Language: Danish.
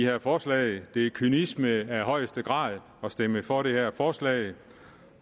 her forslag det er kynisme af højeste grad at stemme for det her forslag